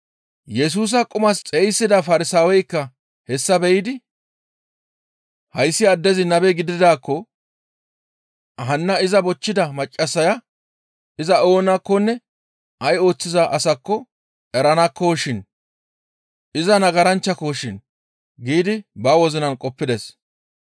Yesusa qumas xeyssida Farsaaweykka hessa be7idi, «Hayssi addezi nabe gididaakko hanna iza bochchida maccassaya iza oonakkonne ay ooththiza asakko eranakkoshin; iza nagaranchchako shin» giidi ba wozinan qoppides.